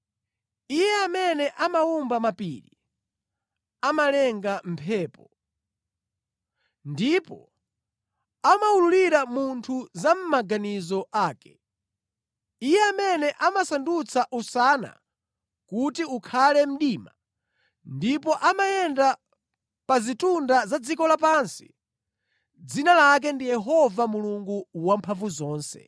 Iye amene amawumba mapiri, amalenga mphepo, ndipo amawululira munthu za mʼmaganizo ake, Iye amene amasandutsa usana kuti ukhale mdima, ndipo amayenda pa zitunda za dziko lapansi, dzina lake ndi Yehova Mulungu Wamphamvuzonse.